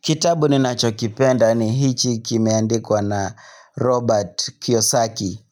Kitabu ninacho kipenda ni hichi kimeandikwa na Robert Kiyosaki.